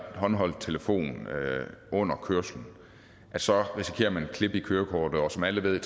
håndholdt telefon under kørslen så risikerer man et klip i kørekortet som alle ved